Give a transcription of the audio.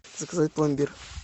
заказать пломбир